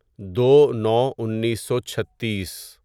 دو نو انیسو چھتیس